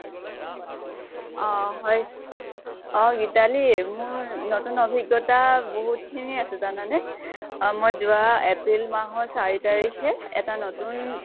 অʼ হয় । অʼ গীতালি মোৰ নতুন অভিজ্ঞতা বহুত খিনি আছে জানানে । অʼ মই যৱা april মাহৰ চাৰি তাৰিখে এটা নতুন